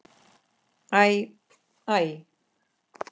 Æ. æ.